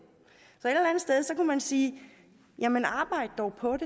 så man sige jamen arbejd dog på